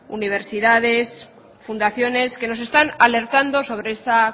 universidades fundaciones que nos están alertando sobre esta